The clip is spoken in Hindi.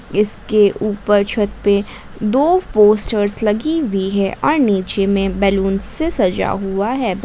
इसके ऊपर छत पे दो पोस्टर्स लगी हुई है और नीचे में बैलून से सजा हुआ है।